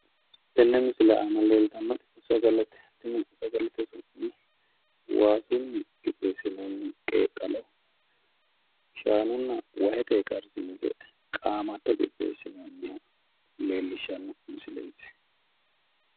tenne misile aana leeltannoti sagalete tenne saaglete su'mi waasunni qixxeessinoonni qeeqqalo shaanunna wahetenni karsiinse qaamatto qixxeessine abbine leellishshanno misileeti.